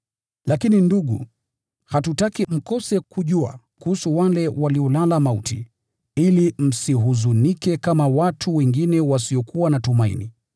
Lakini ndugu, hatutaki mkose kujua kuhusu wale waliolala mauti, ili msihuzunike kama watu wengine wasiokuwa na tumaini.